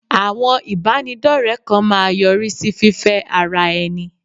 Àwọn ìbánidọ́rẹ kan máa yọrí sí fífẹ́ ara ẹni.